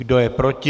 Kdo je proti?